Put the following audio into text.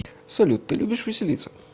салют ты любишь веселиться